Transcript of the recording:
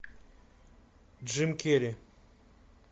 джим керри